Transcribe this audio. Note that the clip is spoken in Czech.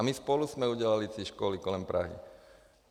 A my spolu jsme udělali ty školy kolem Prahy.